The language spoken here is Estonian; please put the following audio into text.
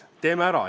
Teeme ära.